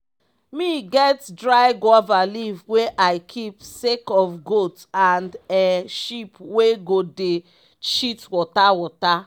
me get dry guava leaf wey i keep sake of goat and um sheep wey go dey shit water water.